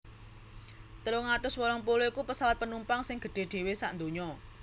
telung atus wolung puluh iku pesawat penumpang sing gedhé dhéwé sadonya